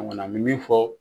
An kɔni an mɛ min fɔ